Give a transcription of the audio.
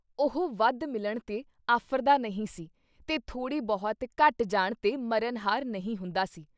ਉਹ ਵੱਧ ਮਿਲਣ ’ਤੇ ਆਫ਼ਰਦਾ ਨਹੀਂ ਸੀ ਤੇ ਥੋੜ੍ਹੀ ਬਹੁਤ ਘੱਟ ਜਾਣ ਤੇ ਮਰਨ ਹਾਰ ਨਹੀਂ ਹੁੰਦਾ ਸੀ।